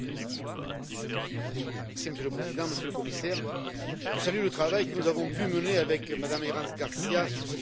Monsieur le Président, Monsieur le Commissaire, je salue le travail que nous avons pu mener avec Mme Herranz García sur cette question des ovins et des caprins.